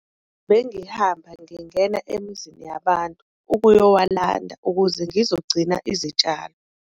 Bengihamba ngingena emizini yabantu ukuyowulanda ukuze ngizogcina izitshalo.